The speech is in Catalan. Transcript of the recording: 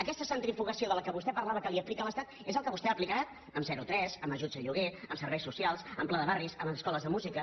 aquesta centrifugació de què vostè parlava que li aplica l’estat és el que vostè ha aplicat en zero tres en ajuts a lloguer en serveis socials en pla de barris en les escoles de música